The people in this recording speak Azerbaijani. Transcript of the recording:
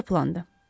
Necə plandır?